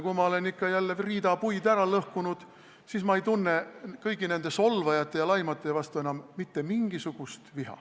Kui ma olen ikka riida puid jälle ära lõhkunud, siis ma ei tunne kõigi nende solvajate ja laimajate vastu enam mitte mingisugust viha.